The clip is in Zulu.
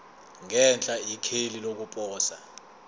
ngenhla ikheli lokuposa